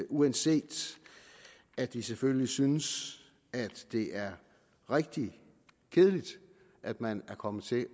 uanset at vi selvfølgelig synes at det er rigtig kedeligt at man er kommet til